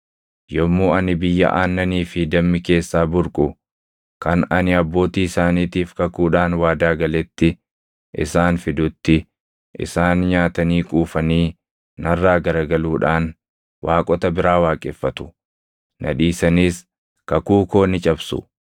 Yommuu ani biyya aannanii fi dammi keessaa burqu kan ani abbootii isaaniitiif kakuudhaan waadaa galetti isaan fidutti isaan nyaatanii quufanii narraa garagaluudhaan waaqota biraa waaqeffatu; na dhiisaniis kakuu koo ni cabsu.